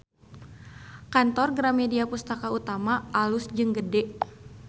Kantor Gramedia Pustaka Utama alus jeung gede